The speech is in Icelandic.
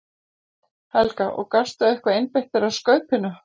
Helga: Og gastu eitthvað einbeitt þér að Skaupinu?